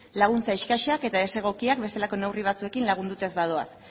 laguntza eskasak eta desegokiak bestelako neurri batzuekin lagunduta ez badoaz